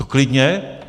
To klidně.